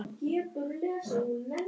Þetta fannst henni fyndið.